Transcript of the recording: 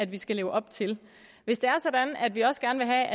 vi skal leve op til hvis det er sådan at vi også gerne